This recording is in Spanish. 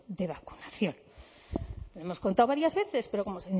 de vacunación lo hemos contado varias veces pero como